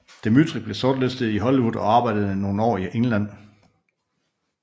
Dmytryk blev sortlistet i Hollywood og arbejdede nogle år i England